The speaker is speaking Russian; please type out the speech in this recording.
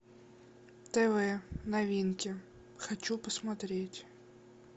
тв новинки хочу посмотреть